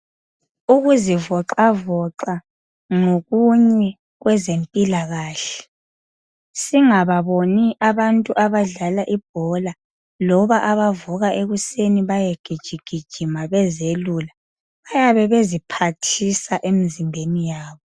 Ukuzivoxavoxa ngokunye kwezempilakahle. Singababoni abantu abadlala ibhola loba bavuka ekuseni bayegijigijima bezelula, bayabe beziphathisa emzimbeni yabo.